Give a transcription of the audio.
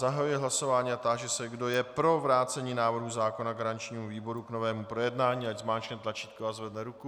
Zahajuji hlasování a táži se, kdo je pro vrácení návrhu zákona garančnímu výboru k novému projednání, ať zmáčkne tlačítko a zvedne ruku.